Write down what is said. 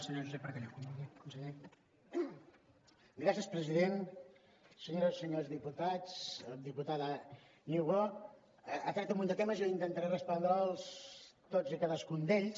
senyores i senyors diputats diputada niubó ha tret un munt de temes jo intentaré respondre’ls tots i cadascun d’ells